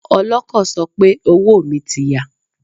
Ọlọ́kọ̀ sọ pé owó mi ti ya.